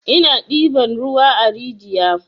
Ina ɗiban ruwan a rijiya.